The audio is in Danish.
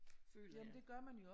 Føler jeg